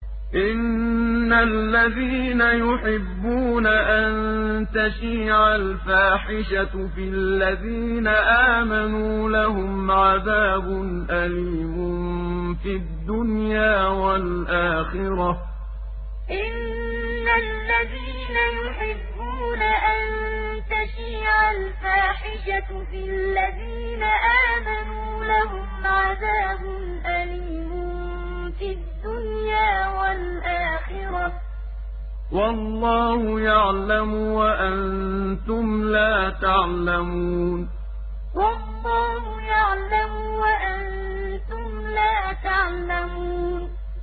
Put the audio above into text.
إِنَّ الَّذِينَ يُحِبُّونَ أَن تَشِيعَ الْفَاحِشَةُ فِي الَّذِينَ آمَنُوا لَهُمْ عَذَابٌ أَلِيمٌ فِي الدُّنْيَا وَالْآخِرَةِ ۚ وَاللَّهُ يَعْلَمُ وَأَنتُمْ لَا تَعْلَمُونَ إِنَّ الَّذِينَ يُحِبُّونَ أَن تَشِيعَ الْفَاحِشَةُ فِي الَّذِينَ آمَنُوا لَهُمْ عَذَابٌ أَلِيمٌ فِي الدُّنْيَا وَالْآخِرَةِ ۚ وَاللَّهُ يَعْلَمُ وَأَنتُمْ لَا تَعْلَمُونَ